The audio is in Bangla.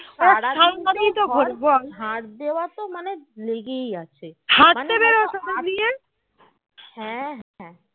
হা